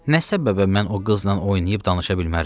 Nə səbəbə mən o qızla oynayıb danışa bilmərəm?